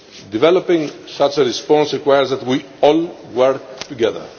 Developing such a response requires that we all work together.